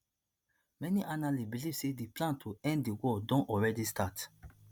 many analysts believe say di plan to end di war don already start